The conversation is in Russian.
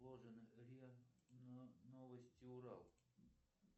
риа новости урал